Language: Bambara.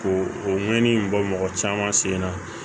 Ko o ŋɛɲɛ in bɔ mɔgɔ caman sen na